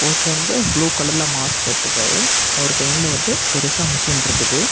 ஒருத்தர் வந்து ப்ளூ கலர்ல மாஸ்க் போட்டுருக்காறு அவர் கைல வந்து பெருசா மெஷின் இருக்குது.